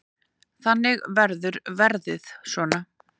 Þannig verður verðið svona.